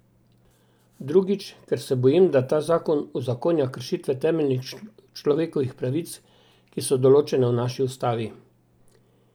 Drugič, ker se bojim, da ta zakon uzakonja kršitve temeljnih človekovih pravic, ki so določene v naši ustavi.